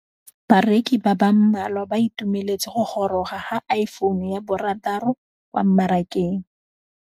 Bareki ba ba malwa ba ituemeletse go gôrôga ga Iphone6 kwa mmarakeng.